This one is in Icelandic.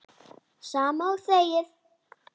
Sama og þegið!